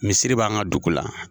Misiri b'an ka dugu la.